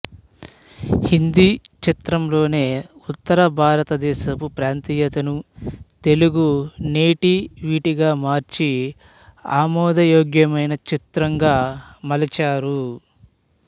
హిందీ చిత్రం లోని ఉత్తర భారత దేశపు ప్రాంతీయతను తెలుగు నేటివిటీగా మార్చి అమోదయోగ్యమైన చిత్రంగా మలచారు